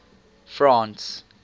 france